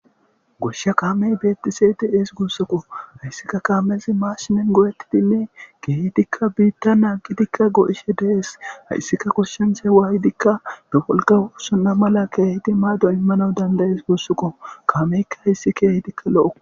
Goshsha kaamey beettiseeti ees guussukko hayssikka kaamezi maashinen goo'ettitinne gehitikka biitta na gitikka go'ishe dees hayssika koshshinchay waayidikka dofolkawuusuna mala keehiti maado immana dandayees gussuko kaameykka hayssi keehitikka lo'o.